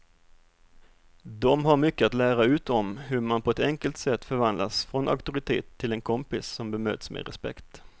De har mycket att lära ut om hur man på ett enkelt sätt förvandlas från auktoritet till en kompis som bemöts med respekt.